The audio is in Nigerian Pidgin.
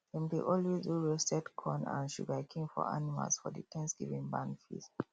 dem dey always do roasted corn and sugarcane for animals for the thanksgiving barn feast